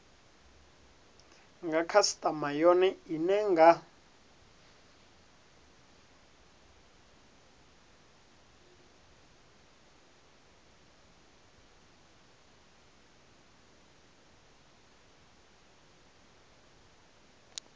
nga khasitama yone ine nga